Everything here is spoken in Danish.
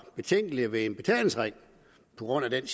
betænkelige ved en betalingsring på grund af den